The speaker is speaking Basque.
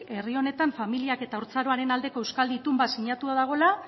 herri honetan familia eta haurtzaroaren aldeko euskal itun bat sinatua dagoela